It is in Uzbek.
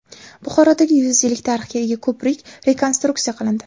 Buxorodagi yuz yillik tarixga ega ko‘prik rekonstruksiya qilindi.